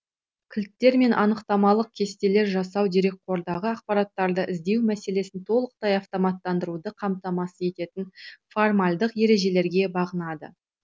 кілттер мен анықтамалық кестелер жасау дерекқордағы ақпараттарды іздеу мәселесін толықтай автоматтандыруды қамтамасыз ететін формальдық ережелерге бағынады